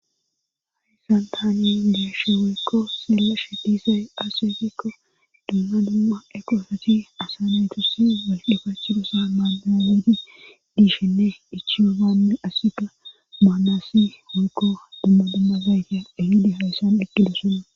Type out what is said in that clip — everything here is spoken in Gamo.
haysan taani deeshe weykko silla she disey asyefikko dumma dumma eqoosati asa neytosi waldhufachshudosa maaameeni dishshenne ichioganne asika maanaasi hoykko dumma dumma zayte ahidi hayssan eqqilesona